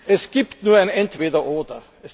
Es gibt nur ein Entweder Oder.